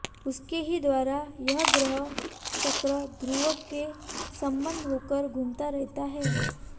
उसके ही द्वारा यह ग्रह चक्र ध्रुव से संबद्ध होकर घूमता रहता है